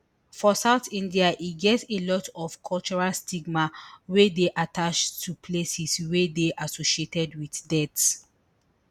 for south india e get a lot of cultural stigma wey dey attached to places wey dey associated wit death